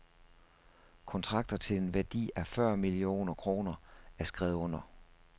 Kontrakter til en værdi af fyrre millioner kroner er skrevet under.